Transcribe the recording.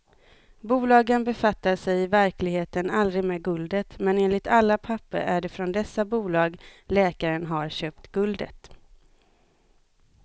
Bolagen befattade sig i verkligheten aldrig med guldet, men enligt alla papper är det från dessa bolag läkaren har köpt guldet.